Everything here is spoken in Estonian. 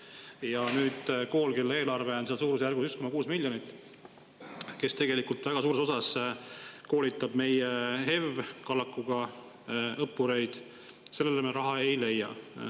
Ja samas koolile, kelle eelarve on suurusjärgus 1,6 miljonit eurot ja kes väga suures osas koolitab meie HEV kallakuga õppureid, me raha ei leia.